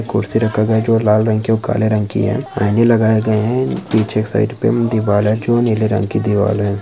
कुर्सी रखा गया है जो लाल रंग की ओर काले रंग की है आईने लगाए गए है जो पीछे एक साइड पे एक दीवाल है जो नीले रंग की दीवाल है।